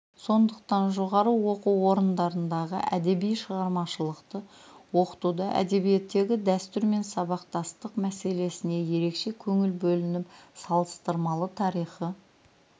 сондықтан жоғары оқу орындарындағы әдеби шығармашылықты оқытуда әдебиеттегі дәстүр мен сабақтастық мәселесіне ерекше көңіл бөлініп салыстырмалы тарихи